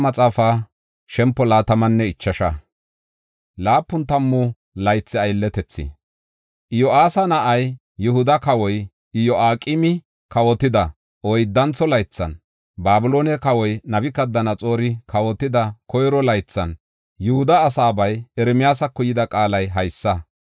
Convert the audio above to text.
Iyosyaasa na7ay, Yihuda kawoy Iyo7aqeemi kawotida oyddantho laythan, Babiloone kawoy Nabukadanaxoori kawotida koyro laythan, Yihuda asaabay Ermiyaasako yida qaalay haysa.